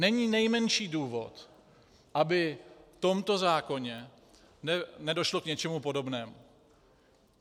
Není nejmenší důvod, aby v tomto zákoně nedošlo k něčemu podobnému